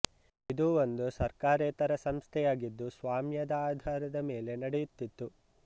ಇದು ಒಂದು ಸರ್ಕಾರೇತರ ಸಂಸ್ಥೆಯಾಗಿದ್ದು ಸ್ವಾಮ್ಯದ ಆಧಾರದ ಮೇಲೆ ನಡೆಯುತ್ತಿತ್ತು